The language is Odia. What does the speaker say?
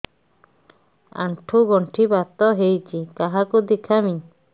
ଆଣ୍ଠୁ ଗଣ୍ଠି ବାତ ହେଇଚି କାହାକୁ ଦେଖାମି